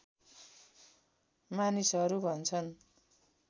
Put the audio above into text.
मानिसहरू भन्छन्